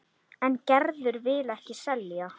En Gerður vill ekki selja.